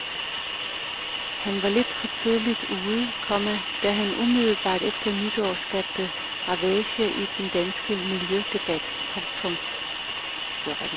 Han var lidt for tidligt ude, komma da han umiddelbart efter nytår skabte ravage i den danske miljødebat. punktum